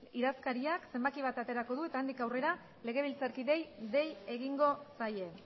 idazkariak zenbaki bat aterako du eta handik aurrera legebiltzarkideei dei egingo zaie